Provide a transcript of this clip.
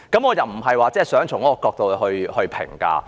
我並非想從這角度來作出評價。